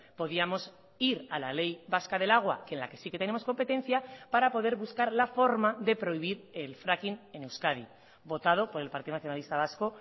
podíamos ir a la ley vasca del agua que en la que sí que tenemos competencia para poder buscar la forma de prohibir el fracking en euskadi votado por el partido nacionalista vasco